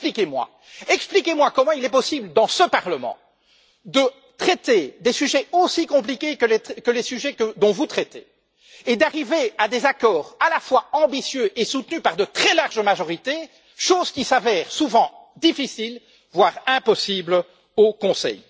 Alors expliquez moi comment il est possible, dans ce Parlement, de traiter de sujets aussi compliqués que ceux dont vous traitez et d'arriver à des accords à la fois ambitieux et soutenus par de très larges majorités, chose qui se révèle souvent difficile, voire impossible au Conseil.